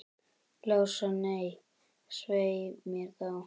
Lása, nei, svei mér þá.